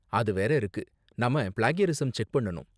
அது வேற இருக்கு, நாம ப்ளேக்யரிஸம் செக் பண்ணனும்